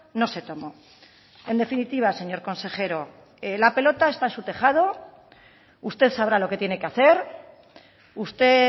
no se tomó en definitiva señor consejero la pelota está en su tejado usted sabrá lo que tiene que hacer usted